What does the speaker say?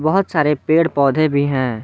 बहोत सारे पेड़ पौधे भी हैं।